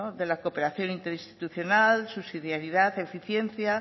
de la cooperación interinstitucional subsidiariedad eficiencia